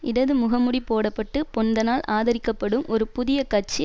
இடது முகமூடி போட பட்டு பொன்தனால் ஆதரிக்கப்படும் ஒரு புதிய கட்சி